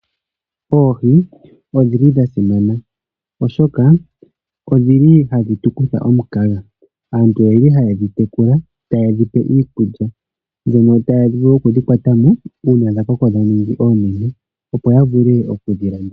Oohi odhili dhasimana oshoka odhili hadhi tukutha omukaga, aantu oyeli hayedhi tekula tayedhipe iikulya, dhono taya vulu okudhi kwatamo uuna dhakoko dhaningi oonene opo yavule okudhilanditha.